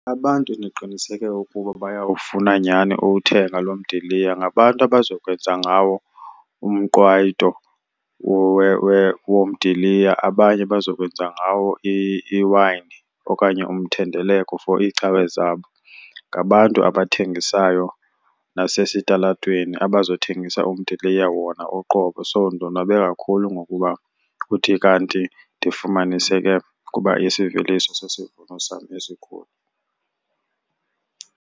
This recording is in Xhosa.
Abantu endiqiniseke ukuba bayawufuna nyhani uwuthenga lo mdiliya ngabantu abazokwenza ngawo umqwayito womdiliya abanye bazokwenza ngawo iwayini okanye umthendeleko for iicawe zabo. Ngabantu abathengisayo nasesitalatweni abazothengisa umdiliya wona uqobo. So ndonwabe kakhulu ngokuba kuthi kanti ndifumaniseke ukuba isiveliso sesivuno sam esikhulu.